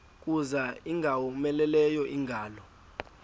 kuza ingowomeleleyo ingalo